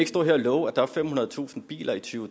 stå her og love at der er femhundredetusind biler i to